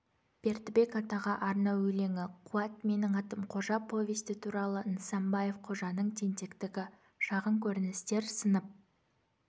бердібек атаға арнау өлеңі қуат менің атым қожа повесті туралы нысанбаев қожаның тентектігі шағын көріністер сынып